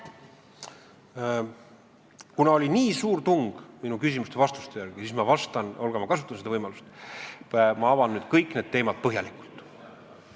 Kuna oli nii suur tung minu vastuste järele, siis, Olga, ma kasutan võimalust ja avan nüüd kõik need teemad põhjalikult.